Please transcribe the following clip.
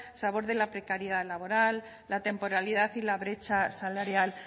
se aborde la precariedad laboral la temporalidad y la brecha salarial